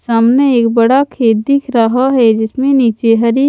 सामने एक बड़ा खेत दिख रहा है जिसमें नीचे हरी--